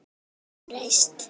Tommi hefur breyst.